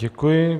Děkuji.